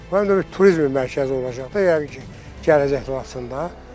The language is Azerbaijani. Çünki həm də bir turizm mərkəzi olacaq da yəqin ki, gələcəkdə Laçında.